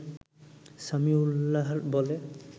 সামিউল্লাহর বলে